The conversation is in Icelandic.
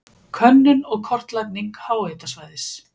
Könnun og kortlagning háhitasvæðis.